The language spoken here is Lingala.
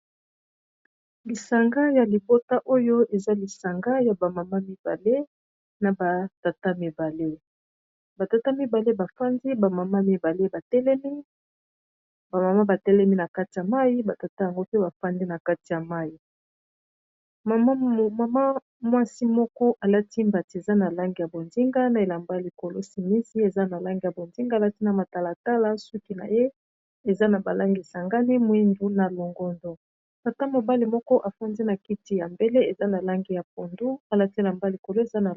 Lisanga ya libota oyo eza lisanga ya bamama mibale na batata mibale batata mibale bafandi bamama mibale batelemi bamama batelemi na kati ya mai batata yango mpe bafandi na kati ya mai mmama mwasi moko alatimbati eza na lange ya bondinga na elamba ya likolo simisi eza na lange ya bondinga alati na matalatala suki na ye eza na balangi sangani mwindu na longondo tata mobali moko afandi na kiti ya mbele eza na lange ya pondu alati elambay likolo ezaa.